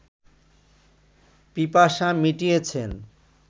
পিপাসা মিটিয়েছেন